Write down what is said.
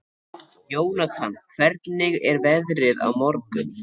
Jónatan, hvernig er veðrið á morgun?